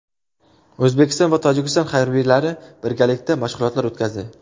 O‘zbekiston va Tojikiston harbiylari birgalikda mashg‘ulotlar o‘tkazdi.